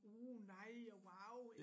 Uh nej og wauw